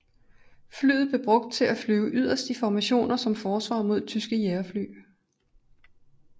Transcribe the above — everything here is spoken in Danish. Flyet blev brugt til at flyve yderst i formationer som forsvar mod tyske jagerfly